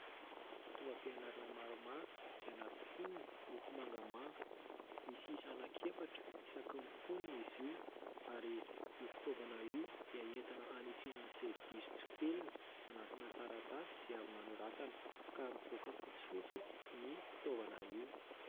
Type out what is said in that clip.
Fitaovam-pianarana maromaro izay anaty fonony miloko mangamanga. Misy isa anankiefatra isaky ny fonony izy io ary io fitaovana io dia entina hanitsiana izay diso tsipelina, anatina taratasy izay avy nanoratana ka mivoaka fotsifotsy ny fitaovana io.